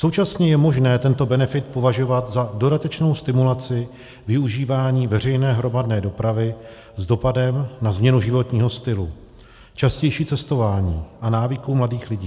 Současně je možné tento benefit považovat za dodatečnou stimulaci využívání veřejné hromadné dopravy s dopadem na změnu životního stylu, častější cestování a návyků mladých lidí.